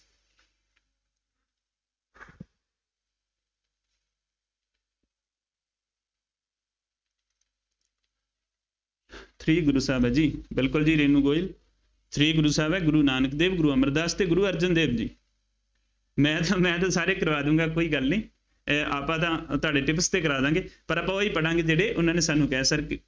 three ਗੁਰੂ ਸਾਹਿਬ ਹੈ ਜੀ, ਬਿਲਕੁੱਲ ਜੀ ਰੇਨੂੰ ਗੋਇਲ, three ਗੁਰੂ ਸਾਹਿਬ ਹੈ, ਗੁਰੂ ਨਾਨਕ ਦੇਵ, ਗੁਰੂ ਅਮਰਦਾਸ ਅਤੇ ਗੁਰੂ ਅਰਜਨ ਦੇਵ ਜੀ, ਮੈਂ ਤਾਂ ਮੈਂ ਤਾਂ ਸਾਰੇ ਕਰਵਾ ਦੇਊਂਗਾ, ਕੋਈ ਗੱਲ ਨਹੀਂ ਅਹ ਆਪਾਂ ਤਾਂ ਤੁਹਾਡੇ syllabus ਤੇ ਕਰਵਾ ਦਿਆਂਗੇ, ਪਰ ਆਪਾਂ ਉਹੀ ਪੜਾਂਗੇ ਜਿਹੜੇ ਉਹਨਾ ਨੇ ਸਾਨੂੰ ਕਿਹਾ Sir ਕੀ